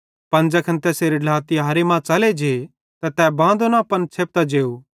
पन ज़ैखन तैसेरे ढ्ला तिहारे मां च़ले जे त तै बांदो न पन छ़ेपतां जेव